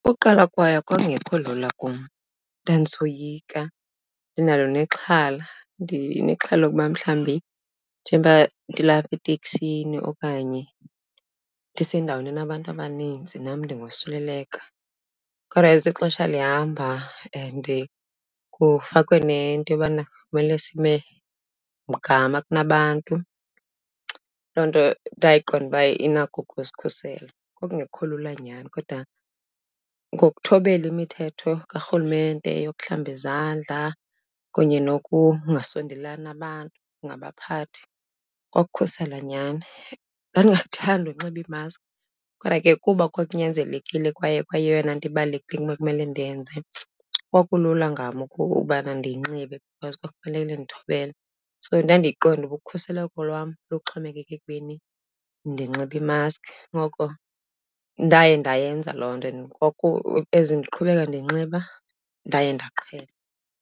Uqala kwayo kwakungekho lula kum ndandisoyika, ndinalo nexhala. Ndinexhala lokuba mhlawumbi njengoba ndilapha eteksini okanye ndisendaweni enabantu abaninzi nam ndingosuleleka. Kodwa as ixesha lihamba and kufakwe nento yobana kumele sime mgama kunabantu, loo nto ndayiqonda uba inako ukusikhusela. Kwakungekho lula nyhani kodwa ngokuthobela imithetho karhulumente yokuhlamba izandla kunye nokungasondelani nabantu, ungabaphathi, kwakukukhusela nyhani. Ndingathandi unxiba i-mask kodwa ke kuba kwakunyanzelekile kwaye kwayeyona into ibalulekile ebekumele ndiyenze, kwakulula ngam ubana ndiyinxibe because kwakumele ndithobele. So ndandiyiqonda uba ukhuseleko lwam luxhomekeka ekubeni ndinxibe i-mask, ngoko ndaye ndayenza loo nto and as ndiqhubeka ndiyinxiba ndaye ndaqhela.